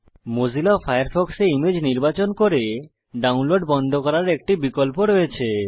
Mozilla ফায়ারফক্সে image নির্বাচন করে ডাউনলোড বন্ধ করার একটি বিকল্প রয়েছে